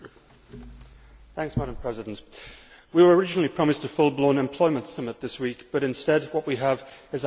Madam President, we were originally promised a full blown employment summit this week but, instead, what we have is a half day troika.